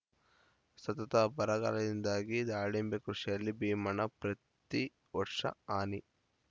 ಸತತ ಬರಗಾಲದಿಂದಾಗಿ ದಾಳಿಂಬೆ ಕೃಷಿಯಲ್ಲಿ ಭೀಮಣ್ಣ ಪ್ರತಿ ವರ್ಷ ಹಾನಿ